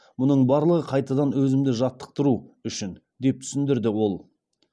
мұның барлығы қайтадан өзімді жаттықтыру үшін деп түсіндірді ол